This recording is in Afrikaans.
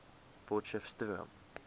potcheftsroom